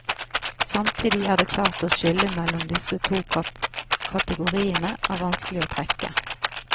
Samtidig er det klart at skillet mellom disse to kategoriene er vanskelig å trekke.